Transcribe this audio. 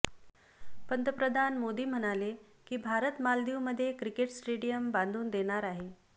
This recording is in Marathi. पंतप्रधान मोदी म्हणाले की भारत मालदीवमध्ये क्रिकेट स्टेडियम बांधून देणार आहे